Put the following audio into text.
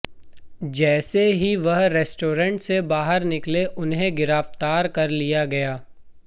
जैसे ही वह रेस्टोरेंट से बाहर निकले उन्हें गिरफ्तार कर लिया गया